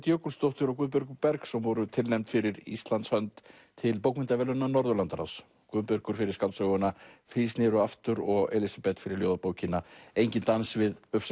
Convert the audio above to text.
Jökulsdóttir og Guðbergur Bergsson voru tilnefnd fyrir Íslands hönd til bókmenntaverðlauna Norðurlandaráðs Guðbergur fyrir skáldsöguna þrír snéru aftur og Elísabet fyrir ljóðabókina enginn dans við